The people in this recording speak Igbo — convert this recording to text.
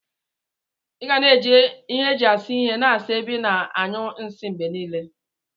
Iga na eji ihe eji asa ihe na asa ebe ina anyụ nsi mgbenile.